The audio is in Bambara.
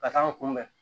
Ka taa n kunbɛn